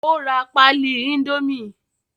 ó ra pálí índómì